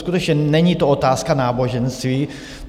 Skutečně, není to otázka náboženství.